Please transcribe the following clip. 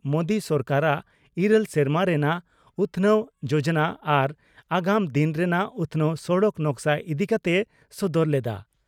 ᱢᱳᱫᱤ ᱥᱚᱨᱠᱟᱨᱟᱜ ᱤᱨᱟᱹᱞ ᱥᱮᱨᱢᱟ ᱨᱮᱱᱟᱜ ᱩᱛᱷᱱᱟᱹᱣ ᱡᱚᱡᱚᱱᱟ ᱟᱨ ᱟᱜᱟᱢ ᱫᱤᱱ ᱨᱮᱱᱟᱜ ᱩᱛᱷᱱᱟᱹᱣ ᱥᱚᱲᱚᱠ ᱱᱚᱠᱥᱟ ᱤᱫᱤ ᱠᱟᱛᱮᱭ ᱥᱚᱫᱚᱨ ᱞᱮᱫᱼᱟ ᱾